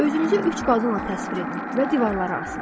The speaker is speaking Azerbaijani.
Özünüzü üç qadınla təsvir edin və divarlara asın.